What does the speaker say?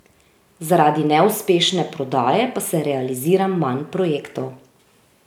Zaradi neuspešne prodaje pa se realizira manj projektov.